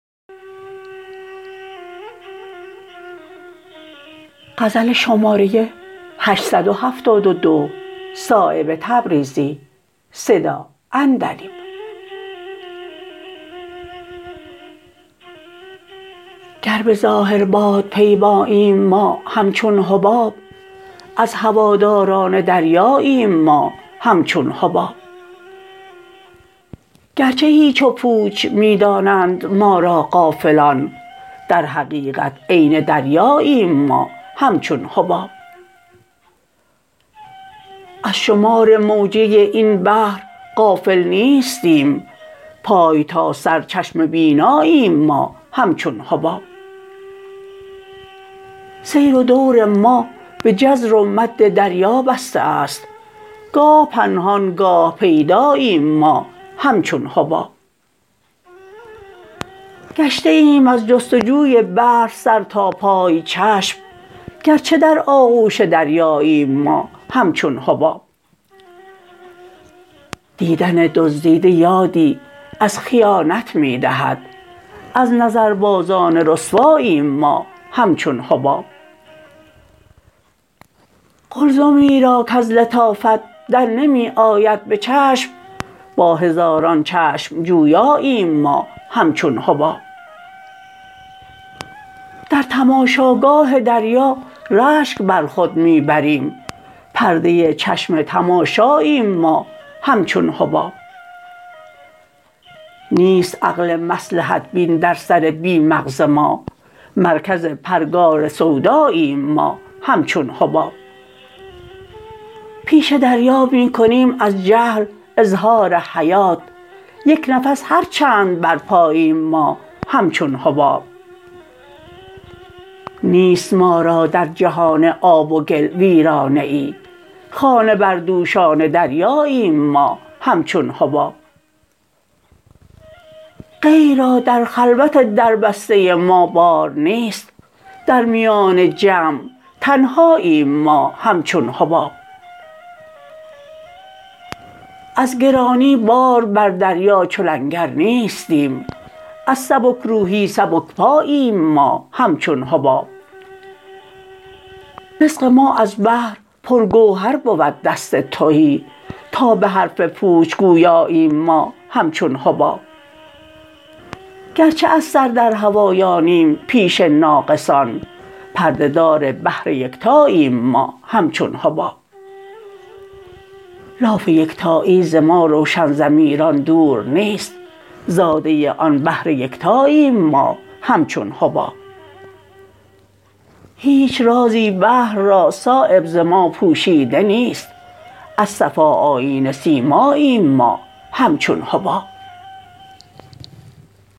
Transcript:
گر به ظاهر بادپیماییم ما همچون حباب از هواداران دریاییم ما همچون حباب گرچه هیچ و پوچ می دانند ما را غافلان در حقیقت عین دریاییم ما همچون حباب از شمار موجه این بحر غافل نیستیم پای تا سر چشم بیناییم ما همچون حباب سیر و دور ما به جزر و مد دریا بسته است گاه پنهان گاه پیداییم ما همچون حباب گشته ایم از جستجوی بحر سر تا پای چشم گرچه در آغوش دریاییم ما همچون حباب دیدن دزدیده یادی از خیانت می دهد از نظربازان رسواییم ما همچون حباب قلزمی را کز لطافت درنمی آید به چشم با هزاران چشم جویاییم ما همچون حباب در تماشاگاه دریا رشک بر خود می بریم پرده چشم تماشاییم ما همچون حباب نیست عقل مصلحت بین در سر بی مغز ما مرکز پرگار سوداییم ما همچون حباب پیش دریا می کنیم از جهل اظهار حیات یک نفس هر چند برپاییم ما همچون حباب نیست ما را در جهان آب و گل ویرانه ای خانه بردوشان دریاییم ما همچون حباب غیر را در خلوت دربسته ما بار نیست در میان جمع تنهاییم ما همچون حباب از گرانی بار بر دریا چو لنگر نیستیم از سبکروحی سبکپاییم ما همچون حباب رزق ما از بحر پر گوهر بود دست تهی تا به حرف پوچ گویاییم ما همچون حباب گرچه از سر در هوایانیم پیش ناقصان پرده دار بحر یکتاییم ما همچون حباب لاف یکتایی ز ما روشن ضمیران دور نیست زاده آن بحر یکتاییم ما همچون حباب هیچ رازی بحر را صایب ز ما پوشیده نیست از صفا آیینه سیماییم ما همچون حباب